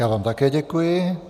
Já vám také děkuji.